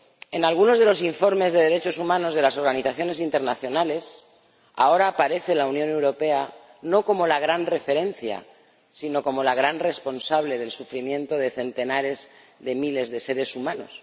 En algunos de los informes de derechos humanos de las organizaciones internacionales, ahora aparece la Unión Europea no como la gran referencia, sino como la gran responsable del sufrimiento de centenares de miles de seres humanos.